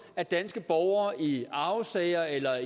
at danske borgere i arvesager eller